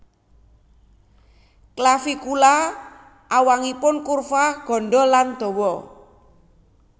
Clavicula awangun kurva gandha lan dawa